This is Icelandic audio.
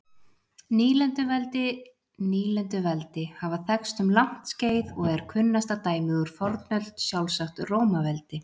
Nýlenduveldi Nýlenduveldi hafa þekkst um langt skeið og er kunnasta dæmið úr fornöld sjálfsagt Rómaveldi.